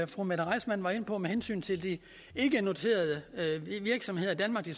fru mette reissmann var inde på med hensyn til de ikkenoterede virksomheder i danmark det